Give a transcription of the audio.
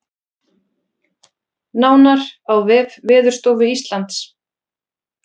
Nánar á vef Veðurstofu Íslands